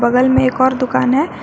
बगल में एक और दुकान है।